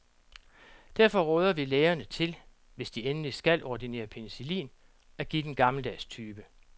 Derfor råder vi lægerne til, hvis de endelig skal ordinere penicillin, at give den gammeldags type.